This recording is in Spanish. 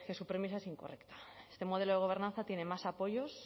su premisa es incorrecta este modelo de gobernanza tiene más apoyos